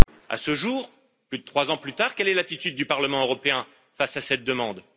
À ce jour, plus de trois ans plus tard, quelle est l'attitude du Parlement européen face à cette demande?